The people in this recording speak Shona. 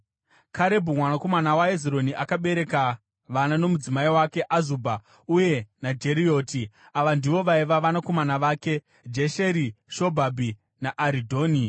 Karebhu mwanakomana waHezironi akabereka vana nomudzimai wake Azubha (uye naJerioti). Ava ndivo vaiva vanakomana vake: Jesheri Shobhabhi naAridhoni.